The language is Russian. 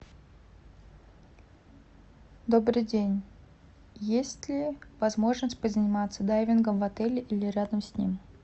добрый день есть ли возможность позаниматься дайвингом в отеле или рядом с ним